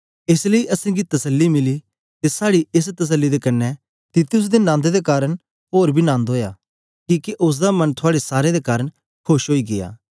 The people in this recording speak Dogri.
एस लेई असेंगी तसल्ली मिली ते साड़ी एस तसल्ली दे कन्ने तीतुस दे नन्द दे कारन ओर बी नन्द ओया किके ओसदा मन थुआड़े सारें दे कारन खोश ओई गीया